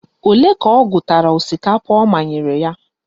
Ole ka ọ gụtara osikapa ọ manyere ya?